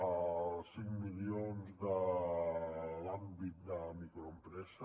els cinc milions de l’àmbit de microempresa